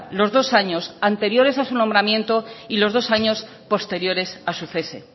los dos años anteriores a su nombramiento y los dos años posteriores a su cese